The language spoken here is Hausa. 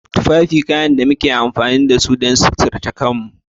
Tufafi kayan da muke amfani da su don suturce kanmu.